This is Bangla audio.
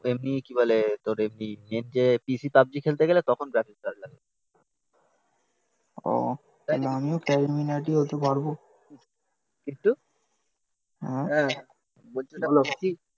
এমনি কি বলে তোর এমনি PC পাবজি খেলতে গেলে তখন গ্রাফিক্স কার্ড লাগে ও তাহলে আমিও ক্যারিমিনাটি হতে পারব